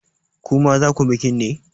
Ku ma za ku bikin ne?